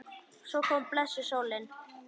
Og svo kom blessuð sólin!